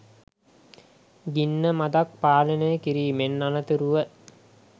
ගින්න මඳක් පාලනය කිරීමෙන් අනතුරුව